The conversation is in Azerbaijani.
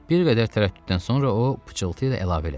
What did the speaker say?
Bir qədər tərəddüddən sonra o pıçıltıyla əlavə elədi.